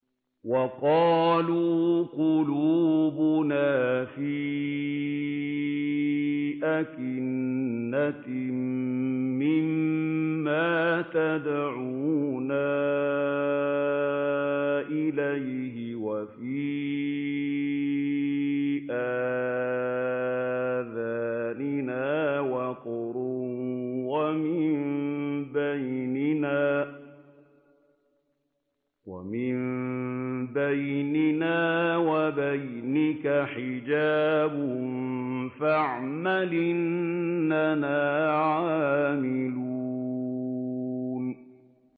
وَقَالُوا قُلُوبُنَا فِي أَكِنَّةٍ مِّمَّا تَدْعُونَا إِلَيْهِ وَفِي آذَانِنَا وَقْرٌ وَمِن بَيْنِنَا وَبَيْنِكَ حِجَابٌ فَاعْمَلْ إِنَّنَا عَامِلُونَ